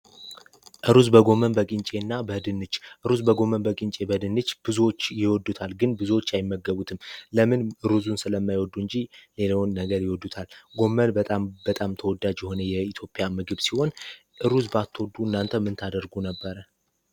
ሩዝ በጎመን በድንች ሩዝ በጎመን በቂ በድንች ብዙዎች የወዱታል ግን ብዙዎች አይመገቡትም ለምን ሩዙን ስለማይወዱ እንጂ ነገር ይወዱታል በጣም በጣም ተወዳጅ የኢትዮጵያ ምግብ ሲሆን እናንተ ምን ታደርጉ ነበር